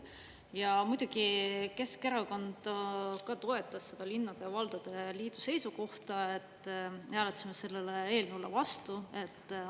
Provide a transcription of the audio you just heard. Ja muidugi Keskerakond ka toetas seda linnade ja valdade liidu seisukohta, me hääletasime sellele eelnõule vastu.